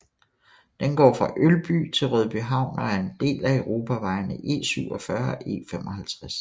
Den går fra Ølby til Rødbyhavn og er en del af europavejene E47 og E55